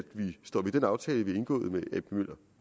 vi står ved den aftale vi har indgået med ap møller